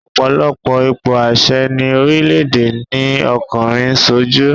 Ọ̀pọ̀lọpọ̀ ipò àṣẹ ni orílẹ̀èdè ni ọkùnrin ń sojú